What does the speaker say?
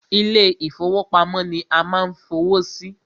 Ilé ìfọwọ́pamo ni a ma ń fowó sí.